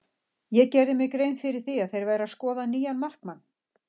Ég gerði mér grein fyrir því að þeir væru að skoða nýjan markmann.